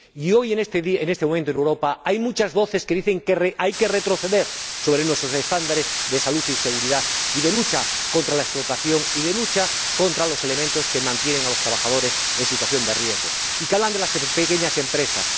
Hoy, en este momento, en Europa hay muchas voces que dicen que hay que retroceder sobre nuestros estándares de salud, de seguridad, de lucha contra la explotación y de lucha contra los elementos que mantienen a los trabajadores en situación de riesgo, y que hablan de las pequeñas empresas.